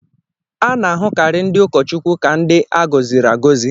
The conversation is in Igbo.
A na-ahụkarị ndị ụkọchukwu ka ndị a gọziri agọzi.